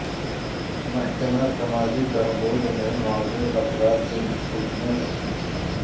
محکمہ سماجی بہبود نے معذور افراد میں سکوٹیاں تقسیم کی